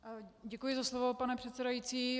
Děkuji za slovo, pane předsedající.